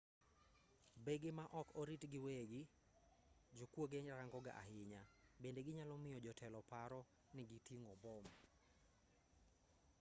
bege ma ok oriti gi weggi jokuoge rangoga ahinya bende ginyalo miyo jotelo paro ni giting'o mbom